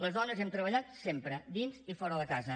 les dones hem treballat sempre dins i fora de casa